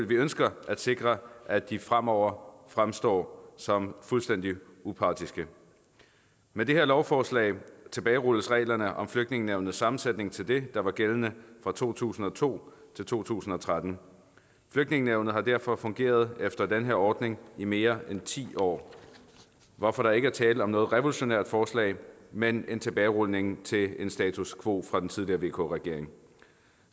vi ønsker at sikre at de fremover fremstår som fuldstændig upartiske med det her lovforslag tilbagerulles reglerne om flygtningenævnets sammensætning til det der var gældende fra to tusind og to til to tusind og tretten flygtningenævnet har derfor fungeret efter den her ordning i mere end ti år hvorfor der ikke er tale om noget revolutionært forslag men en tilbagerulning til en status quo fra den tidligere vk regering